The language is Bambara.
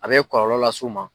A bɛ kɔlɔlɔ las'u ma